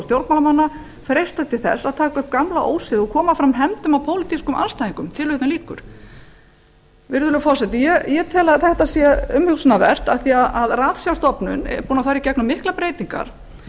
stjórnmálamanna freistast til þess að taka upp gamla ósiði og koma fram hefndum á pólitískum andstæðingum virðulegur forseti þetta er umhugsunarvert því að ratsjárstofnun er búin að ganga í gegnum miklar breytingar